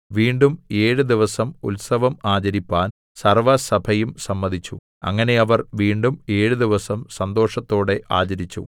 വീണ്ടും ഏഴ് ദിവസം ഉത്സവം ആചരിപ്പാൻ സർവ്വസഭയും സമ്മതിച്ചു അങ്ങനെ അവർ വീണ്ടും ഏഴു ദിവസം സന്തോഷത്തോടെ ആചരിച്ചു